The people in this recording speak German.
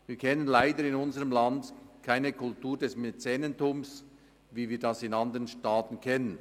Wir kennen in unserem Land leider keine Kultur des Mäzenentums, wie wir es aus anderen Staaten kennen.